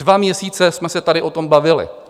Dva měsíce jsme se tady o tom bavili.